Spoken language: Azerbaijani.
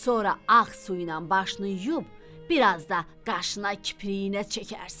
Sonra ağ su ilə başını yuyub biraz da qaşına, kipriyinə çəkərsən.